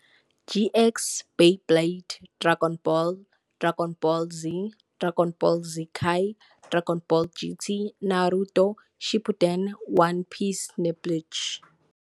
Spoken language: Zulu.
GX, Beyblade, Dragon Ball, Dragon Ball Z, Dragon Ball Z Kai, Dragon Ball GT, Naruto Shippuden, One Piece neBleach.